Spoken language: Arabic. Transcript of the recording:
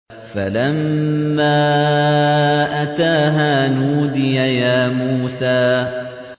فَلَمَّا أَتَاهَا نُودِيَ يَا مُوسَىٰ